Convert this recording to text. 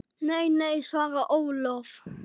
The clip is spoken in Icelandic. Nei, nei svarar Ólöf.